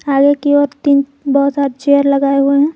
आगे की ओर तीन बहुत सारे चेयर लगाए हुए हैं।